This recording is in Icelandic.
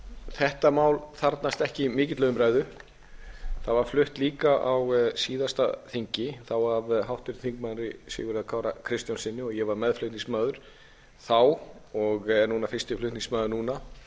þetta mál þarfnast ekki mikillar umræðu það var flutt líka á síðasta þingi þá af háttvirtum þingmanni sigurði kára kristjánssyni og ég á meðflutningsmaður þá og er fyrsti flutningsmaður núna